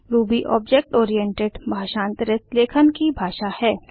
Ruby object oriented भाषांतरित लेखन की भाषा है